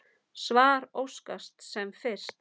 Svar óskast sem fyrst.